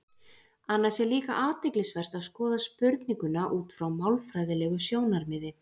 Annars er líka athyglisvert að skoða spurninguna út frá málfræðilegu sjónarmiði.